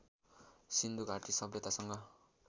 सिन्धु घाटी सभ्यतासँग